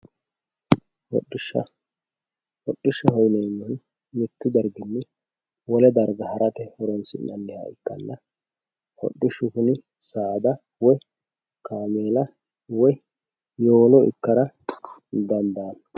hodhishsha hodhishshaho yineemmohu mittu darginni wole darga harate horoonsi'nanniha ikkanna hodhishshu kuni saada woy kaameela woy yowolo ikkara dandaanno